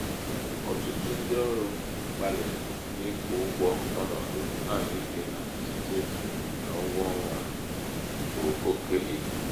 ọtụtụ ndị ọrụ gbalịrị ịkwụ ụgwọ ọnọdụ ahụike ha site n'ụgwọ ọnwa bu oke ibu.